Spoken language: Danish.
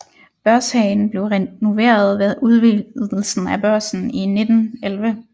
Børshagen blev renoveret ved udvidelsen af Børsen i 1911